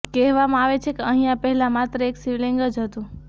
કહેવામાં આવે છે કે અહિયાં પહેલા માત્ર એક શિવલિંગ જ હતું